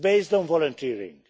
It is based on volunteering.